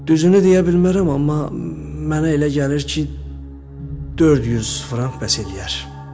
Düzünü deyə bilmərəm, amma mənə elə gəlir ki, 400 frank bəs eləyər.